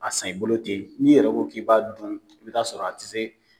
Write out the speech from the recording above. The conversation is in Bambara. A san i bolo ten, n'i yɛrɛ ko k'i b'a dun i b'a sɔrɔ a te se